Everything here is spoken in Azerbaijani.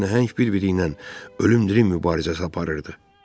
İki nəhəng bir-biri ilə ölümdərin mübarizəsi aparırdı.